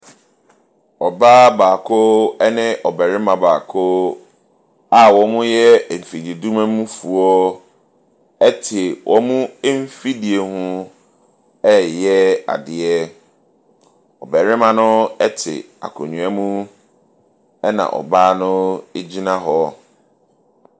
Ɔbaa baako ne ɔbarima baako a wɔyɛ mfididwuma mufoɔ te wɔn mfidie ho reyɛ adeɛ. Ɔbarima no te akonnwa mu ɛna ɔbaa no gyina hɔ.